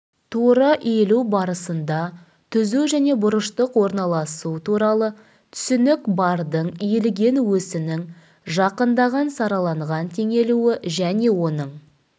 тура иілу барысында түзу және бұрыштық орналасу туралы түсінік бардың иілген осінің жақындаған сараланған теңелуі және оның